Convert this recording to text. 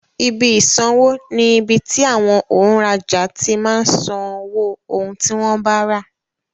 Ibi ìsanwó ni ibi tí àwọn òǹrajà ti máa ń san owó ohun tí wọ́n bá rà.